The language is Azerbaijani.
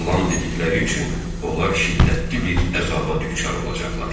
Yalan dedikləri üçün onlar şiddətli bir əzaba düçar olacaqlar.